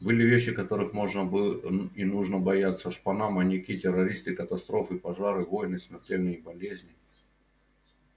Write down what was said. были вещи которых можно и нужно бояться шпана маньяки террористы катастрофы пожары войны смертельные болезни